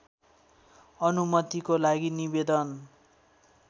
अनुमतिको लागि निवेदन